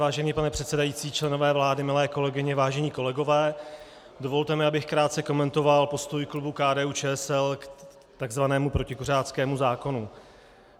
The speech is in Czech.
Vážený pane předsedající, členové vlády, milé kolegyně, vážení kolegové, dovolte mi, abych krátce komentoval postoj klubu KDU-ČSL k tzv. protikuřáckému zákonu.